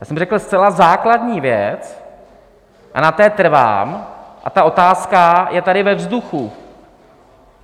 Já jsem řekl zcela základní věc, a na té trvám, a ta otázka je tady ve vzduchu.